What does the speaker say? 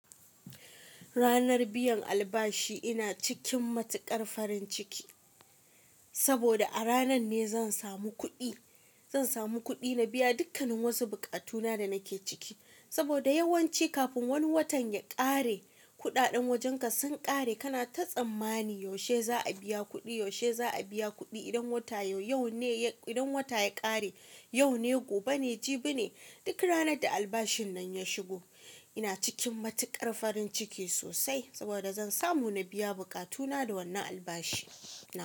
Ranar biyan albashi ina cikin matuƙar farin ciki, saboda a ranan ne zan samu kuɗi. Zan samu kuɗi na biya dukkannin wasu buƙatu na da nake ciki. Saboda yawanci kafin wani watan ya ƙare, kuɗaɗen wajenka sun ƙare. Kana ta tsammani, yaushe za a biya kuɗi? Yaushe za a biya kuɗi? Idan wata yau, yau ne, idan wata ya ƙare, yau ne, gobe ne, jibi ne. Duk ranar da albashin nan ya shigo, ina cikin matuƙar farin ciki sosai. Saboda zan samu na biya buƙatu na da wannan albashi na.